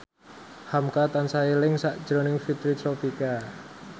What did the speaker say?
hamka tansah eling sakjroning Fitri Tropika